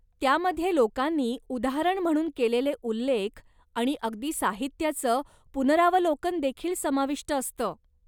त्यामध्ये लोकांनी उदाहरण म्हणून केलेले उल्लेख आणि अगदी साहित्याचं पुनरावलोकन देखील समाविष्ट असतं.